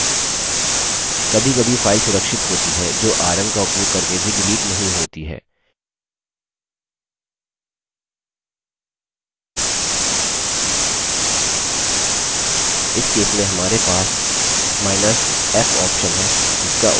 कभीकभी file सुरक्षित होती हैं जो rm का उपयोग करके भी डिलीट नहीं होती हैं इस case में हमारे पासf option है जिसका उपयोग file को डिलीट करने के लिए किया जा सकता है